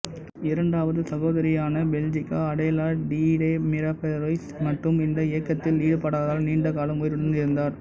இரண்டாவது சகோதரியான Belgica Adela Dede Mirabal Reyes மட்டும் இந்த இயக்கத்தில் ஈடுபடாததால் நீண்ட காலம் உயிருடன் இருந்தார்